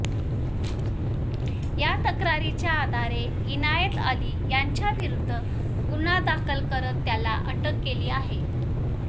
या तक्रारीच्या आधारे इनायतअली याच्याविरूद्ध गुन्हा दाखल करत त्याला अटक केली आहे